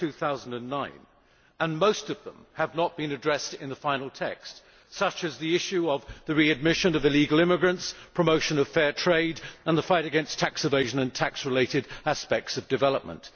2009. Most of them have not been addressed in the final text, such as the issue of the readmission of illegal immigrants, promotion of fair trade, the fight against tax evasion and tax related aspects of development.